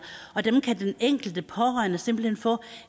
dem kan den enkelte pårørende simpelt hen få